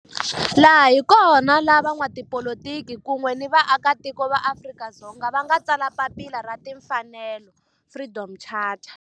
Laha hi kona la van'watipolitiki kun'we ni vaaka tiko va Afrika-Dzonga va nga tsala papila ra timfanelo, Freedom Charter.